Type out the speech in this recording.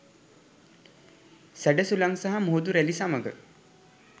සැඩ සුළං සහ මුහුදු රැළි සමග